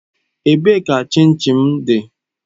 Ebee ka chin chin m dị?